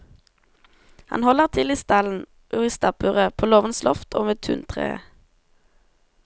Han holder til i stallen og i stabburet, på låvens loft og ved tuntreet.